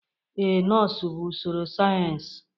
Ee, nọọsụ bụ usoro sayensị.